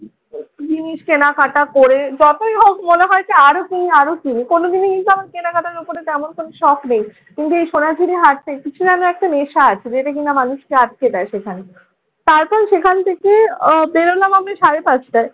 জিনিস কেনাকাটা করে যতই হোক মনে হয়েছে আরো কিনি আরো কিনি। কোনোদিনই কিন্তু আমার কেনাকাটার উপরে তেমন কোনো শখ নেই। কিন্তু এই সোনাঝুড়ির হাট থেকে কিছু যেন একটা নেশা আছে যেটা কিনা মানুষকে আটকে দেয় সেখানে। তারপর সেখান থেকে আহ বেরোলাম আমি সাড়ে পাঁচটায়।